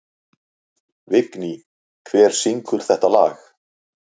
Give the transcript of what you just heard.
Vigný, hver syngur þetta lag?